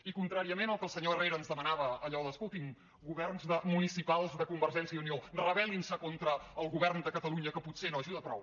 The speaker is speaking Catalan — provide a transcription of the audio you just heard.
i contràriament al que el senyor herrera ens demanava allò d’ escoltin governs municipals de convergència i unió rebel·lin se contra el govern de catalunya que potser no ajuda prou